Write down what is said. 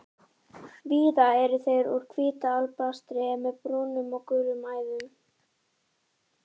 Víða eru þeir úr hvítu alabastri með brúnum og gulum æðum.